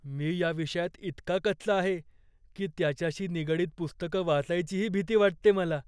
मी या विषयात इतका कच्चा आहे की त्याच्याशी निगडीत पुस्तकं वाचायचीही भीती वाटते मला.